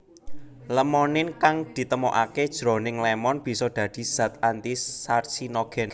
Lemonin kang ditemokaké jroning lémon bisa dadi zat anti carcinogen